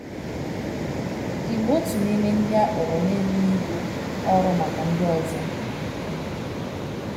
Ị bụ otu n'ime ndị a kpọrọ na-ebu ibu ọrụ maka ndị ọzọ?